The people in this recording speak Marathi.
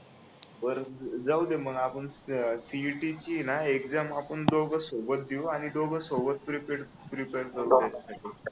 बरं जाऊ दे म्हणजे आपण CET ची एक्झाम आपण दोघं सोबत देऊ आणि दोघं सोबत प्रीपेर करू